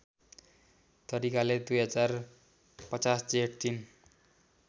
तरिकाले २०५० जेठ ३